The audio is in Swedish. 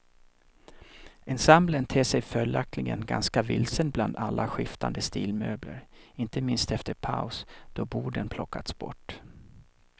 Ensemblen ter sig följaktligen ganska vilsen bland alla skiftande stilmöbler, inte minst efter paus då borden plockats bort.